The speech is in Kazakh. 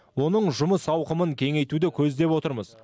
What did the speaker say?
оның жұмыс ауқымын кеңейтуді көздеп отырмыз